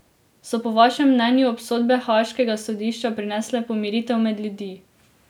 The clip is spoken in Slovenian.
So po vašem mnenju obsodbe Haaškega sodišča prinesle pomiritev med ljudi.